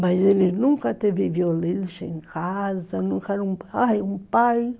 Mas ele nunca teve violência em casa, nunca era um pai, um pai